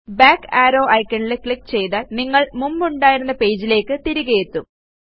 back ആരോ iconൽ click ചെയ്താൽ നിങ്ങൾ മുമ്പുണ്ടായിരുന്ന പേജിലേയ്ക്ക് തിരികെയെത്തും